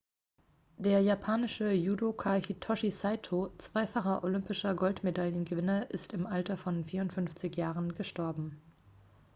der japanische judoka hitoshi saito zweifacher olympischer goldmedaillengewinner ist im alter von 54 jahren gestorben